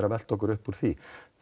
að velta okkur upp úr því